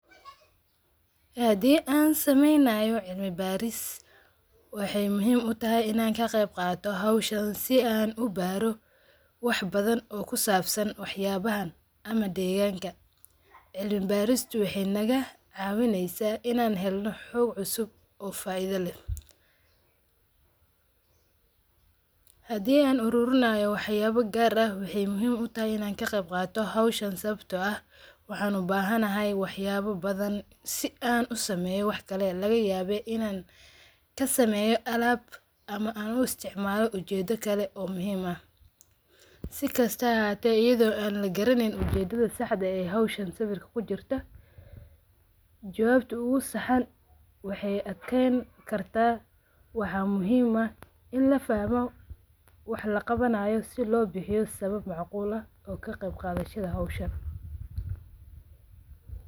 Hadi an sameynayo cilmi baris waxay muhim utahay inan kaqeb qato howshan si an ubaro wax badan o kusabsan waxyabahan ama deganka, cilmi barista waxay naga cawineysa inan helno xoog cusub o faido leh hadi an ururinayo waxyaba gar ah waxay muhim utahay inan kaqeybqato howshan sabato ah waxan ubahanay waxyaba badan si an usameyo lagayaba inan kasemeyo alab ama an uistacmalo ujedo kale o muhim ah sikasto a hate ayado on lagaraneynin ujeda saxda eh howshan sawirka kujurta jababta ugasaxan waxay adkeyni karta waxa muhim ah in lafahmo wax laqabanayo si lobixio sabab macqul ah o kaqeyqadashada howshan.